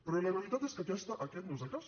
però la realitat és que aquest no és el cas